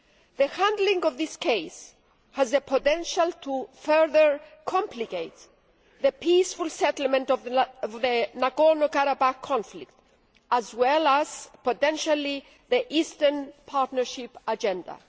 The handling of this case has the potential to further complicate the peaceful settlement of the Nagorno Karabakh conflict, as well as potentially the Eastern Partnership agenda.